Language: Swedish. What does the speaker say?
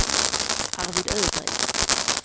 Arvid Ögren